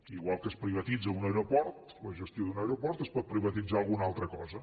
igual que es privatitza un aeroport la gestió d’un aeroport es pot privatitzar alguna altra cosa